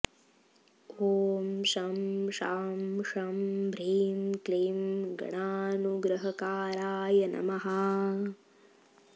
ॐ शं शां षं ह्रीं क्लीं गणानुग्रहकारकाय नमः